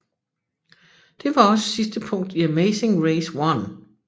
Det var også sidste punkt i Amazing Race 1